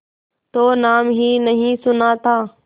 तो नाम ही नहीं सुना था